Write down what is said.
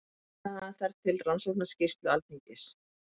Vitnaði hann þar til Rannsóknarskýrslu Alþingis